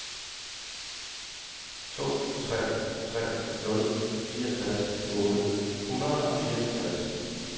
to tre tre nul fireogtres otte hundrede og fireoghalvtreds